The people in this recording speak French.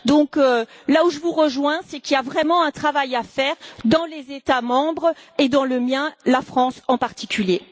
Par conséquent, là où je vous rejoins, c'est qu'il y a vraiment un travail à faire dans les États membres et dans le mien, la France, en particulier.